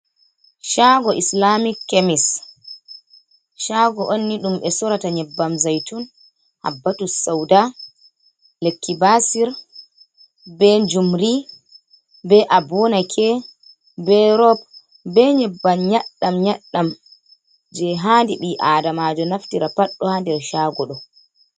Cago islamic kemis cago onni dum be sorata nyebbam zaitun habbtu sauda lekibasir be jumri be abunake be robe be nyebbam nyaddam yaddam je hadi bi adamajo naftira paddo ha nder cago ɗo.